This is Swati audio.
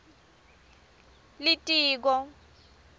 litiko